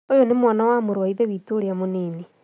Ũyũnĩ mwana wa mũrũwa ithe witu urĩa mũnini